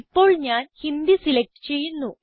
ഇപ്പോൾ ഞാൻ ഹിന്ദി സിലക്റ്റ് ചെയ്യുന്നു